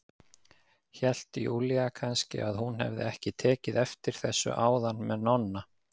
Hélt Júlía kannski að hún hefði ekki tekið eftir þessu áðan með Nonna?